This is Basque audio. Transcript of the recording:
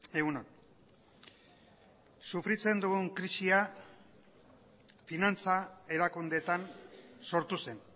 egun on sofritzen dugun krisia finantza erakundeetan sortu zen